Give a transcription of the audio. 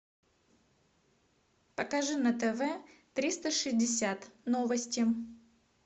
покажи на тв триста шестьдесят новости